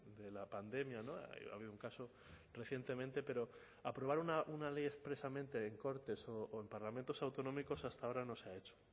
de la pandemia ha habido un caso recientemente pero aprobar una ley expresamente en cortes o en parlamentos autonómicos hasta ahora no se ha hecho